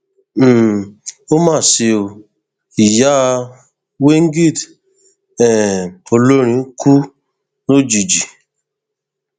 um ó mà ṣe ó ìyá wingid um olórin kù lójijì